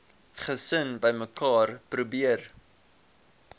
gesin bymekaar probeer